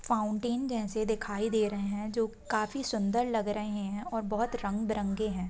Fountain जैसे दिखाई दे रहे हैं जो काफी सुंदर लग रहे हैं और बहुत रंग बिरंगे हैं।